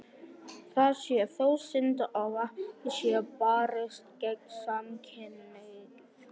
Það sé þó synd ef ekki sé barist gegn samkynhneigð.